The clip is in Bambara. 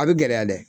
A bɛ gɛlɛya dɛ